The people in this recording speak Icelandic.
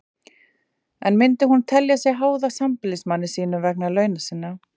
En myndi hún telja sig háða sambýlismanni sínum vegna launa sinna?